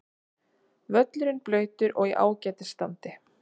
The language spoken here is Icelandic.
Völlurinn blautur og í ágætis standi.